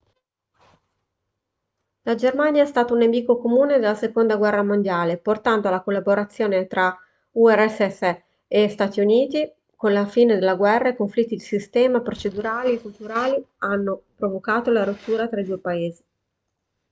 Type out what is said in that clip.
la germania è stata un nemico comune nella seconda guerra mondiale portando alla collaborazione tra urss e stati uniti con la fine della guerra i conflitti di sistema procedurali e culturali hanno provocato la rottura tra i due paesi